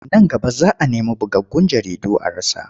Nan gaba za a nemi bugaggun jaridu a rasa.